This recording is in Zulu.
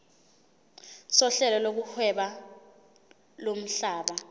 sohlelo lokuhweba lomhlaba